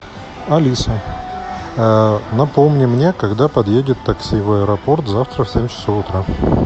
алиса напомни мне когда подъедет такси в аэропорт завтра в семь часов утра